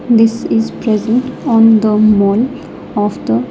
This is present on the mall of the--